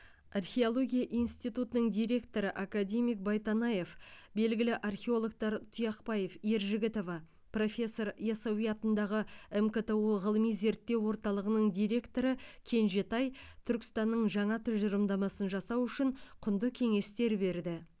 археология институтының директоры академик байтанаев белгілі археологтар тұяқбаев ержігітова профессор ясауи атындағы мкту ғылыми зерттеу орталығының директоры кенжетай түркістанның жаңа тұжырымдамасын жасау үшін құнды кеңестер берді